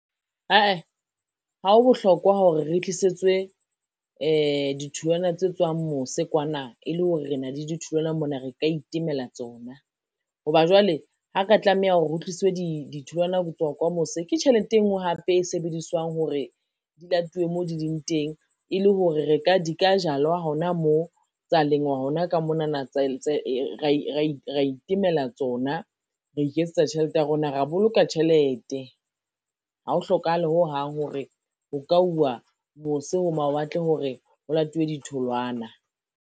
Ae, ha o bohlokwa hore re tlisetswe, ditholwana tse tswang mose kwana e le hore re na le di tholwana mona re ka itemelang tsona. Ho ba jwale ha ka tlameha ho re hotliswe ditholwana ho tswa kwa mose ke tjhelete e ngwe hape e sebediswang hore, di latuwe mo di leng teng e le hore di ka jalwa hona mo, tsa lengwa hona ka monana ra itemela tsona, ra iketsetsa tjhelete ya rona, ra boloka tjhelete. Ha o hlokahale hohang hore ho ka uwa mose ho mawatle hore ho latuwe ditholwana.